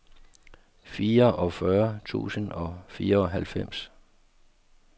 fireogfyrre tusind og fireoghalvfems